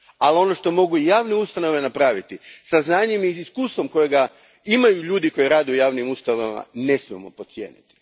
Ali ono što javne ustanove mogu napraviti sa znanjem i iskustvom koje imaju ljudi koji rade u javnim ustanovama, ne smijemo podcijeniti.